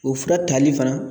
O fura tali fana